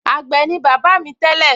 àgbẹ̀ ni bàbá mi tẹ́lẹ̀